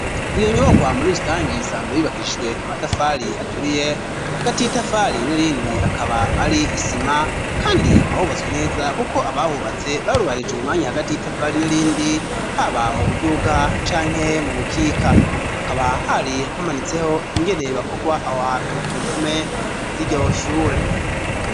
Iyo nyubakohamuri rutangiye isanzo bibakishijwe amatafali aturiye hagati y'i tafali n'irindi akaba ari isima, kandi hakabahubatswa neza, kuko abahubatse barubahije umwanya hagati y'i tafali nirindi haba mu buduga canke mu bukika hakaba hari hamanitseho ingeneye bakorwa aho hantu ku mpume iryoshure.